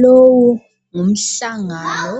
Lowo ngumhlangano